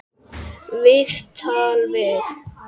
Viðtal við